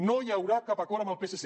no hi haurà cap acord amb el psc